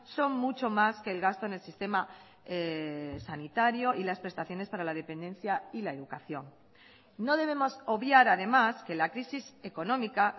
son mucho más que el gasto en el sistema sanitario y las prestaciones para la dependencia y la educación no debemos obviar además que la crisis económica